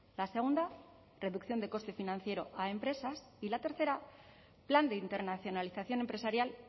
la segunda reducción de coste financiero a empresas y la tercera plan de internacionalización empresarial